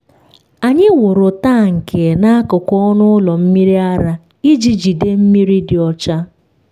anyị wuru tank n’akụkụ ọnụ ụlọ mmiri ara iji jide mmiri dị ọcha.